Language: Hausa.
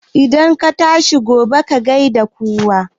Idan ka tashi gobe, ka gai da kowa